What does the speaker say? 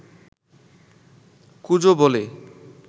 কুঁজো বলে